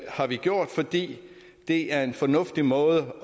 har vi gjort fordi det er en fornuftig måde